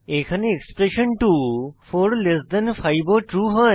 এখানে এক্সপ্রেশণ 2 45 ও ট্রু হয়